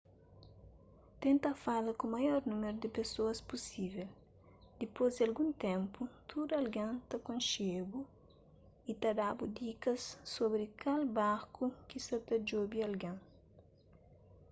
tenta fala ku maior númeru di pesoas pusível dipôs di algun ténpu tudu algen ta konxe-bu y ta da-bu dikas sobri kal barku ki sa ta djobe algen